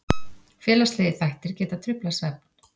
Félagslegir þættir geta truflað svefn.